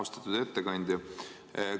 Austatud ettekandja!